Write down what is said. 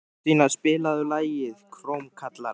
Þorstína, spilaðu lagið „Krómkallar“.